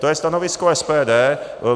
To je stanovisko SPD.